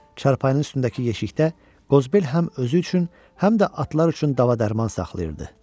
Çarpayının üstündəki yeşikdə Qozbel həm özü üçün, həm də atlar üçün dava-dərman saxlayırdı.